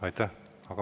Aitäh!